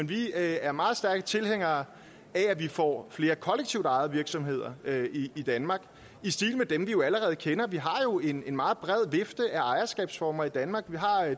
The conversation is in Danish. vi er meget stærke tilhængere af at vi får flere kollektivt ejede virksomheder i danmark i stil med dem vi allerede kender vi har jo en meget bred vifte af ejerskabsformer i danmark vi har